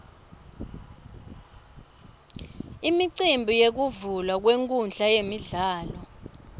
imicimbi yekuvulwa kwenkhundla yemidlalo